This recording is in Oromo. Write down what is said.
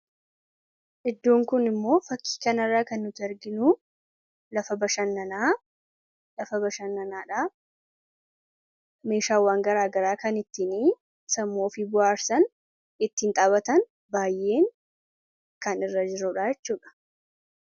Iddoon Kun immoo, fakkii kana irraa kan nu arginu, lafa bashannaanaadha. Meeshaawwan garaagaraa kan ittiin sammuu ofii bohaarsan ittiin taphatan baayyee kan irra jirudha jechuudha.